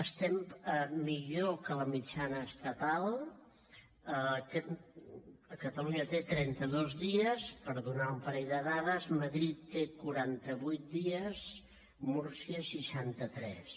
estem millor que la mitjana estatal catalunya té trenta dos dies per donar un parell de dades madrid té quaranta vuit dies múrcia seixanta tres